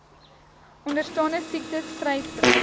onderstaande siektes vryspring